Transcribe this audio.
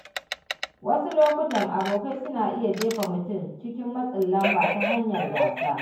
Wasu lokuta, abokai suna iya jefa mutum cikin matsin lamba ta hanyar gãsa.